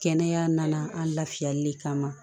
Kɛnɛya nana an lafiyali de kama